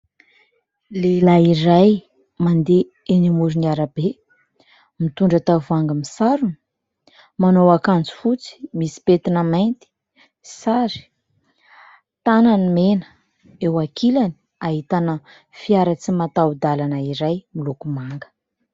Lehilahy iray mandeha enỳ amoron'arabe mitondra tavoahangy misarona. Manao akanjo fotsy misy petina mainty sary, tanany mena. Eo ankilany ahitana fiara tsy mataho dalana iray miloko manga.